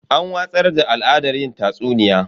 An watsar da al'adar yin tatsuniya.